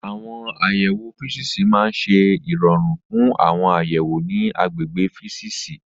Àwọn àyẹ̀wò físíìsì máa ń ṣe ìrọ̀rùn fún àwọn àyẹ̀wò ní àgbègbè físíìsì.